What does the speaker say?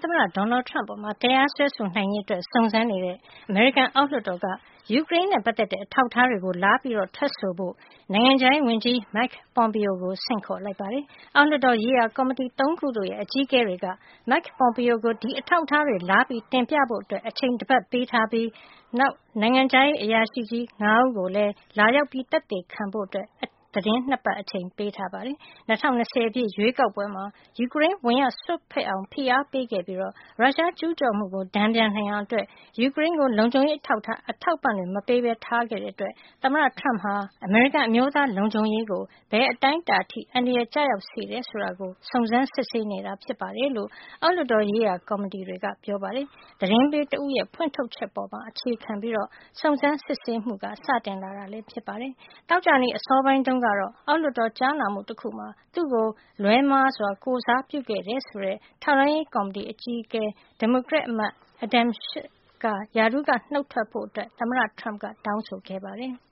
သမ္မတ ဒေါ်နယ်ထရမ့်အပေါ် တရားစွဲဆိုနိုင်ရေး စုံစမ်းနေတဲ့ အမေရိကန်အောက်လွှတ်တော်က ယူကရိန်းနဲ့ ပတ်သက်တဲ့ အထောက်အထားတွေ လာရောက် ထွက်ဆိုဖို့ နိုင်ငံခြားရေးဝန်ကြီး မိုက် ပွန်ပီယိုကို ဆင့်ခေါ်လိုက်ပါတယ်။ အောက်လွှတ်တော် ရေးရာ ကော်မတီ ၃ ခုတို့ရဲ့ အကြီးအကဲတွေက မိုက် ပွန်ပီယို ကို အဲဒီ အထောက်အထားတွေ လာရောက်တင်ပြဖို့ အချိန် တပတ် ပေးထားပြီး နောက် နိုင်ငံခြားရေး အရာရှိကြီး ၅ ဦးကိုလည်း လာရောက် သက်သေခံဖို့ အချိန် သီတင်း၂ ပတ် ပေးထားပါတယ်။ ၂၀၂၀ ပြည့် ရွေးကောက်ပွဲမှာ ယူကရိန်း ဝင်ရောက်စွက်ဖက်အောင် ဖိအားပေးခဲ့ပြီး ရုရှား ကျူးကျော်မှုကို တန်ပြန်နိုင်အောင် ယူကရိန်းကို လုံခြုံရေး အထောက်အပံ့ မပေးဘဲ ထားခဲ့တဲ့အတွက် သမ္မတ ထရမ့်ဟာ အမေရိကန် အမျိုးသားလုံခြုံရေးကို ဘယ်အတိုင်းအတာအထိ အန္တရာယ် ကျရောက်စေသလဲဆိုတာ စုံစမ်းစစ်ဆေးနေတာ ဖြစ်တယ်လို့ အောက်လွှတ်တော် ရေးရာ ကော်မတီတွေက ဆိုပါတယ်။ သတင်းပေးတဦးရဲ့ ဖွင့်ထုတ်ချက်ကို အခြေခံပြီး စုံစမ်းစစ်ဆေးမှု စတင်လာတာ လည်း ဖြစ်ပါတယ်။ သောကြာနေ့ အစောပိုင်းတုန်းကတော့ အောက်လွှတ်တော် ကြားနာမှု တခုမှာ သူ့ကို လွဲမှားစွာ ကိုယ်စားပြုခဲ့တယ်ဆိုတဲ့ ထောက်လှမ်းရေး ကော်မတီအကြီးအကဲ ဒီမိုကရက်အမတ် Adam Schiff ရာထူးက နုတ်ထွက်ဖို့ သမ္မတ ထရမ့် တောင်းဆိုခဲ့ပါတယ်။